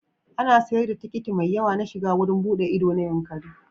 An sayar da tikiti mai yawa na shiga wurin buɗe ido na Yankari.